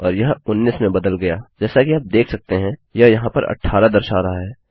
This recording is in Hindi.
और यह 19 में बदल गया जैसा कि आप देख सकते हैं यह यहाँ पर 18 दर्शा रहा है